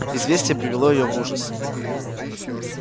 известие привело её в ужас